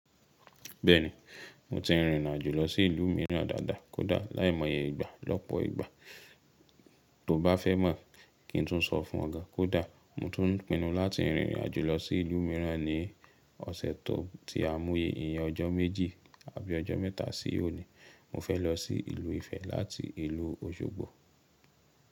Bẹ́ẹ̀ni, mo ti rìnrìn àjò lọ sí ìlú mìíràn dáadáa kódà láìmọye ìgbà lọ́pọ̀ ìgbà. Tó bá fẹ́ mọ̀ kí n tún sọ fún ọ ga, kódà mo tún pinu láti rìnrìn àjò lọ sí ìlú mìíràn ní ọ̀sẹ̀ tó tí a mú yẹn ọjọ́ méjì àbí ọjọ́ mẹ́ta sí òní. Mo fẹ́ lọ sí ìlú Ifẹ̀ láti ìlú Òṣogbo.